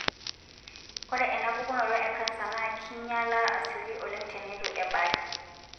ore ena pukunoto encanser na kinyiala asioki oleng tenetu ebaaki.